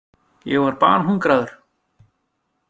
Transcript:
Ég var banhungraður.